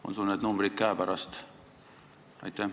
On sul need numbrid käepärast?